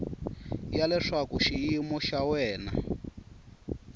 ya leswaku xiyimo xa wena